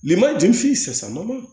Lema ju f'i ye sa